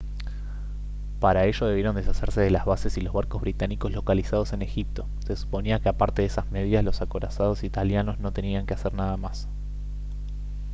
para ello debieron deshacerse de las bases y los barcos británicos localizados en egipto se suponía que aparte de esas medidas los acorazados italianos no tenían que hacer nada más